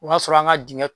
O y'a sɔrɔ an ka dingɛ